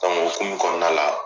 Donk' o humu kɔnɔna la